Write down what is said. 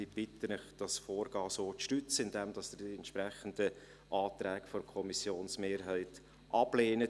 Ich bitte Sie, dieses Vorgehen so zu stützen, indem Sie die entsprechenden Anträge der Kommissionsmehrheit ablehnen.